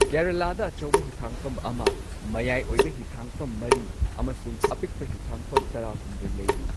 ꯀꯦꯔꯂꯥꯗ ꯑꯆꯧꯕ ꯍꯤꯊꯥꯡꯐꯝ ꯑꯃ, ꯃꯌꯥꯏ ꯑꯣꯏꯕ ꯍꯤꯊꯥꯡꯐꯝ ꯃꯔꯤ, ꯑꯃꯁꯨꯡ ꯑꯄꯤꯛꯄ ꯍꯤꯊꯥꯡꯐꯝ ꯇꯔꯥꯍꯨꯝꯗꯣꯏ ꯂꯩꯔꯤ꯫